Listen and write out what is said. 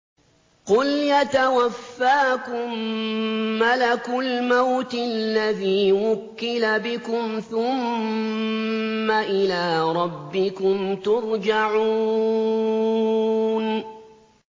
۞ قُلْ يَتَوَفَّاكُم مَّلَكُ الْمَوْتِ الَّذِي وُكِّلَ بِكُمْ ثُمَّ إِلَىٰ رَبِّكُمْ تُرْجَعُونَ